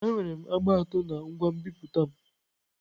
Enwere agba atọ na ngwa nbipute m.